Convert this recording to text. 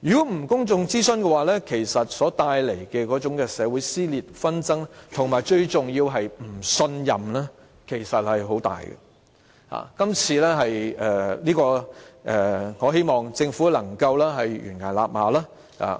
如果不進行公眾諮詢，將帶來很大的社會撕裂、紛爭，而最重要的是會帶來不信任，我希望政府能夠臨崖勒馬。